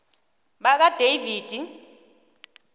bakadavidi